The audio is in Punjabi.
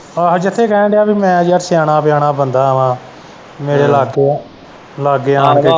ਆਹੋ ਜਿੱਥੇ ਕੈਣ ਦਿਆ ਪੀ ਮੈਂ ਯਾਰ ਸਿਆਣਾ ਪਿਆਣਾ ਬੰਦਾ ਵਾ ਮੇਰੇ ਲਾਗੇ ਐ ਲਾਗੇ ਆਣ ਕੇ।